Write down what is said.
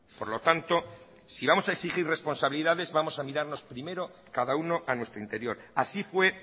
por lo tanto si vamos a exigir responsabilidades vamos a mirarnos primero cada uno a nuestro interior así fue